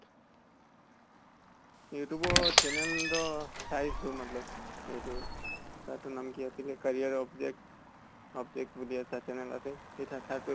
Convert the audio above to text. youtube ত channel ৰʼ চাইছো hindi । সেইতো, সেইতো কি নাম আছিলে career object, object বুলি এটা channel আছে । সেই